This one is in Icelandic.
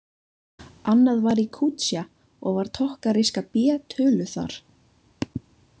Annað var í Kútsja og var tokkaríska B töluð þar.